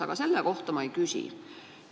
Aga selle kohta ma ei küsi.